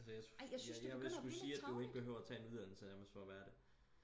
altså jeg jeg jeg ville sku sige at du ikke behøver at tage en uddannelse nærmest for at være det